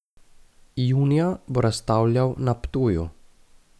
Junija bo razstavljal na Ptuju.